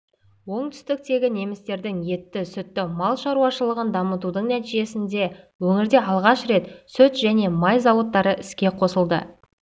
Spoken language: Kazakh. оңтүстіктегі немістердің етті сүтті мал шаруашылығын дамытудың нәтижесінде өңірде алғаш рет сүт және май зауыттары іске қосылды